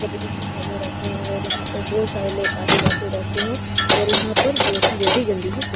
गंदगी भी बने रहते है और यहाँ पे बहुत सारे लोग आते-जाते रहते है और यहाँ पर बहुत ही ज्यादे गंदगी --